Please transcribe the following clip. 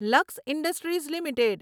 luck Industries limited